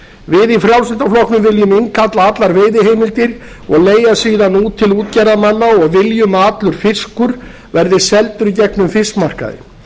við í frjálslynda flokknum viljum innkalla allar veiðiheimildir og leigja síðan út til útgerðarmanna og viljum að allur fiskur verði seldur í gegnum fiskmarkaði